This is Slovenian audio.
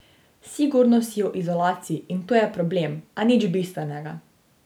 Sigurno si v izolaciji in to je problem, a nič bistvenega.